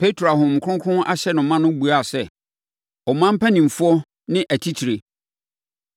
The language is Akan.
Petro a Honhom Kronkron ahyɛ no ma no buaa sɛ, “Ɔman mpanimfoɔ ne atitire.